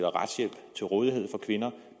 retshjælp til rådighed for kvinder